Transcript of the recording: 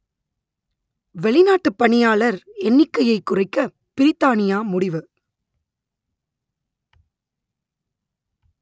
வெளிநாட்டுப் பணியாளர் எண்ணிக்கையைக் குறைக்க பிரித்தானியா முடிவு